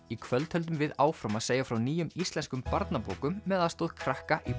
í kvöld höldum við áfram að segja frá nýjum íslenskum barnabókum með aðstoð krakka í